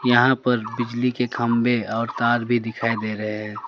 यहां पर बिजली के खंभे और तार भी दिखाई दे रहे हैं।